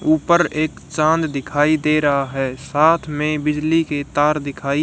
ऊपर एक चांद दिखाई दे रहा है साथ में बिजली के तार दिखाई--